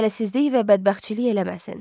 Hövsələsizlik və bədbəxtçilik eləməsin.